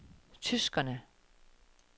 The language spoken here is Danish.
tyskerne